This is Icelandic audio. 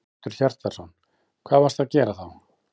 Hjörtur Hjartarson: Hvað varstu að gera þá?